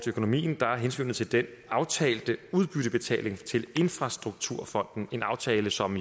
økonomien er hensynet til den aftalte udbyttebetaling til infrastrukturfonden en aftale som